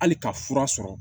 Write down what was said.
Hali ka fura sɔrɔ